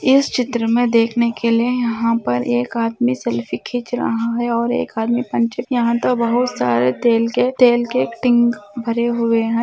इस चित्र में देखने के लिए यहाँ पर एक आदमी सेल्फी खींच रहा है और एक आदमी बहुत सारे तेल के तेल के टिंक भरे हुए है।